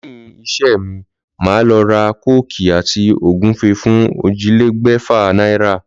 Léyìn isé mi, màá lo ra kóòkì àti ògúnfe fún ójìlélégbèfà náírà